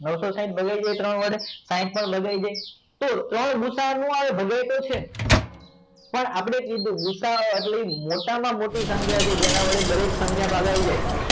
નવસો સાઇટ ભગાવી દે ત્રણ વડે સાઇટ પણ ભગાઈ જાય તો ત્રણ ગુસા ન આવે ભુસા ન આવે ભૂસા નો આવે ભગાયેલો છે પણ આપણે કીધું ભુસા એટલે ભુસા મોટામાં મોટી સંખ્યા છે જેને વડે દરેક સંખ્યા ભાગ આવી જાય